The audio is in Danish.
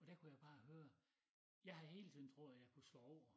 Og der kunne jeg bare høre jeg havde hele tiden troet at jeg kunne slå over